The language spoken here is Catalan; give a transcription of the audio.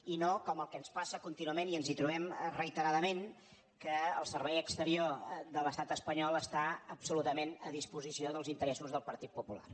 i no com el que ens passa contínuament i ens hi trobem reiteradament que el servei exterior de l’estat espanyol està absolutament a disposició dels interessos del partit popular